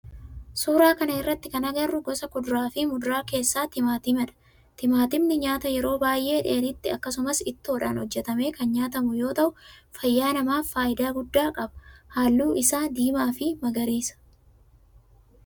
Suuraa kana irratti kana agarru gosa kuduraa fi muduraa keessaa timaatimadha. Timaatimni nyaata yeroo baayyee dheedhiitti akkasumas ittoodha hojjetamee kan nyaatamu yoo ta'u fayyaa namaaf faayidaa guddaa qaba. Halluu isaa diimaa fi magariisa.